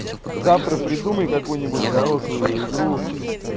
завтра придумай какую-нибудь хорошую игру